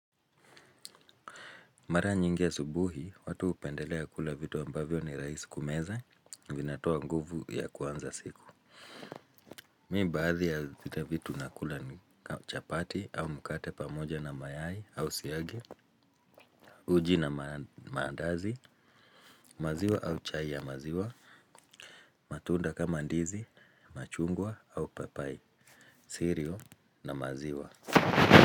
Mara nyingi asubuhi, watu hupendelea kula vitu ambavyo ni rahisi kumeza, vinatoa nguvu ya kuanza siku. Mimi baadhi ya vitu nakula ni chapati au mkate pamoja na mayai au siagi, uji na maandazi, maziwa au chai ya maziwa, matunda kama ndizi, machungwa au papai, siriol na maziwa.